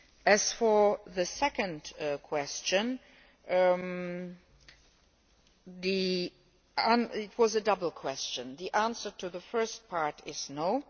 As for the second question, which was a double question, the answer to the first part is no'.